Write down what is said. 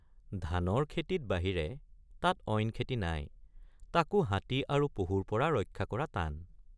ধানৰ খেতিত বাহিৰে তাত অইন খেতি নাই তাকে৷ হাতী আৰু পহুৰপৰা ৰক্ষা কৰা টান ।